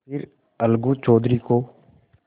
फिर अलगू चौधरी को